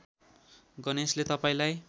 गणेशले तपाईँलाई